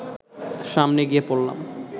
সামনে গিয়ে পড়লাম